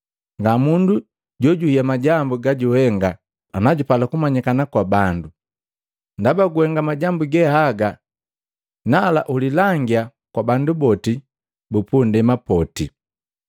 Nga mundu jojuhiya majambu gajuhenga anajupala jumanyikana kwa bandu. Ndaba guhenga majambu ge haga nala ulilangia kwa bandu bupundema poti!”